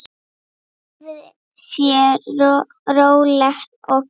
Lífið sé rólegt og gott.